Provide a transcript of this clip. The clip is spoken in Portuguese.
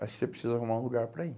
Você precisa arrumar um lugar para ir.